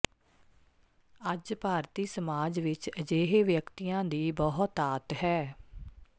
ਅੱਜ ਭਾਰਤੀ ਸਮਾਜ ਵਿਚ ਅਜਿਹੇ ਵਿਅਕਤੀਆਂ ਦੀ ਬਹੁਤਾਤ ਹੈ